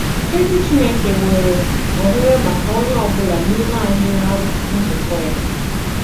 Èzì Chìnékè nwere òhèrè maka onye ọ̀bụ̀la n'ime ànyị̀ ná nzùkọ ya.